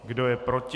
Kdo je proti?